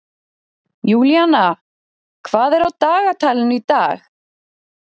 Júlína, hvað er á dagatalinu í dag?